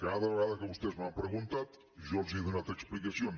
cada vegada que vostès m’han preguntat jo els he donat explicacions